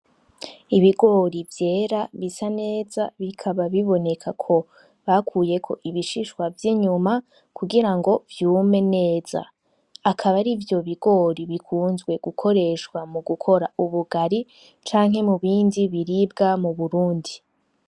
Ibigori vyera bisa neza bikaba biboneka ko bakuyeko ibishishwa vy' inyuma kugira ngo vyume neza, akaba arivyo bigori bikunzwe gukora ubugari canke mubindi biribwa mu Burundi.